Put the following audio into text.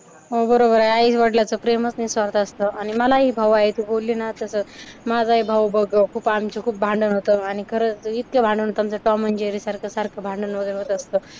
हो बरोबर आहे, आई-वडलाचं प्रेमच निस्वार्थ असतं आणि मलाही भाऊ आहे. तू बोलली ना तसंच. माझाही भाऊ खूप भांडण होतं आणि खरंच इतके भांडण होतं ना आमचं टॉम अँड जेरी सारखं भांडणं वगैरे होत असतं.